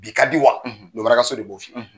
Bi ka di wa lomara ka so de b'o fɔ i ye